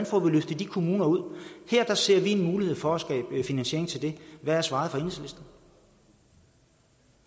får løftet de kommuner ud her ser vi en mulighed for at skabe finansiering til det hvad er svaret